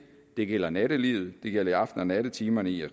det gælder i nattelivet det gælder i aften og nattetimerne i